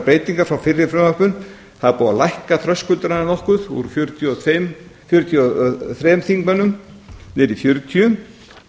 breytingar frá fyrri frumvörpum það er búið að lækka þröskuldana nokkuð úr fjörutíu og þremur þingmönnum niður í fjörutíu